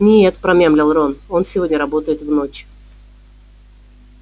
нет промямлил рон он сегодня работает в ночь